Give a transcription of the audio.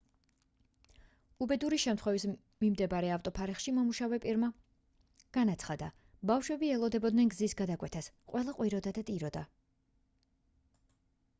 უბედური შემთხვევის მიმდებარე ავტოფარეხში მომუშავე პირმა განაცხადა ბავშვები ელოდებოდნენ გზის გადაკვეთას ყველა ყვიროდა და ტიროდა